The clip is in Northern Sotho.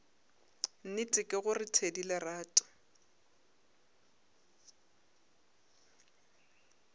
nnete ke gore thedi lerato